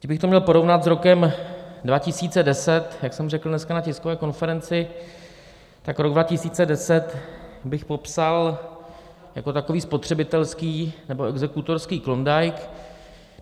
Kdybych to měl porovnat s rokem 2010, jak jsem řekl dneska na tiskové konferenci, tak rok 2010 bych popsal jako takový spotřebitelský nebo exekutorský Klondike.